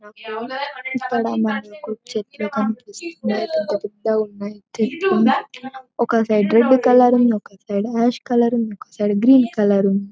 ఇక్కడ మనకు చెట్లు కనిపిస్తున్నాయి పెద్ద పెద్ద గున్నాయి చెట్లు ఒక సైడ్ రెడ్ కలర్ ఉంది ఒక సైడ్ ఆష్ కలర్ ఉంది ఒక సైడ్ గ్రీన్ కలర్ ఉంది.